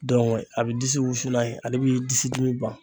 a bɛ disi wusu n'a ye ale bɛ disi dimi ban.